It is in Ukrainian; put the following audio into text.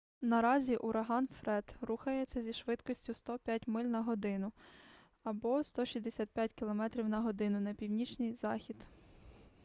наразі ураган фред рухається зі швидкістю 105 миль на годину 165 км/год на північний захід